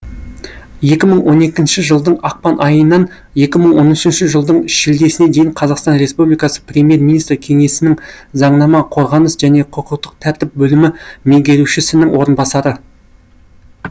екі мың он екінші жылдың ақпан айынан улі мың он үшінші жылдың шілдесіне дейін қазақстан республикасы премьер министрі кеңсесінің заңнама қорғаныс және құқықтық тәртіп бөлімі меңгерушісінің орынбасары